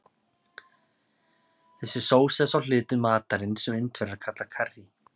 Þessi sósa er sá hluti matarins sem Indverjar kalla karrí.